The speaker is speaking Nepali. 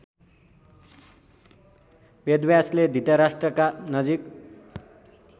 वेदव्यासले धृतराष्ट्रका नजिक